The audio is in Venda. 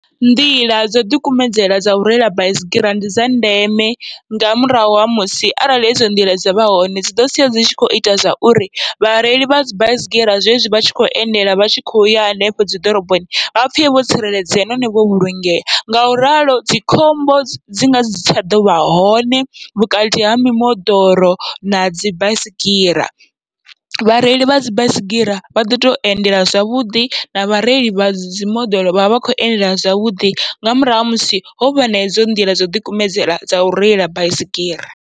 Nḓila dzo ḓikumedzela dzau reila baisigira ndi dza ndeme, nga murahu ha musi arali hedzo nḓila dzavha hone dziḓo sia dzi tshi kho ita zwauri vhareili vhadzi baisigira zwezwi vhatshi kho endela vhatshi khoya hanefho dzi ḓoroboni vha pfhe vho tsireledzea nahone vho vhulungea. Ngauralo dzi khombo dzi ngasi tsha ḓovha hone vhukati ha mimoḓoro nadzi baisigira, vhareili vhadzi baisigira vha ḓo to endela zwavhuḓi na vhareili vha dzimoḓoro vhavha vha kho endela zwavhuḓi, nga murahu ha musi hovha na edzo nḓila dzo ḓikumedzela dzau reila baisigira.